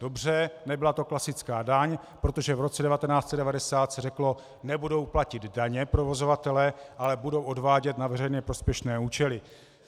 Dobře, nebyla to klasická daň, protože v roce 1990 se řeklo: nebudou platit daně provozovatelé, ale budou odvádět na veřejně prospěšné účely.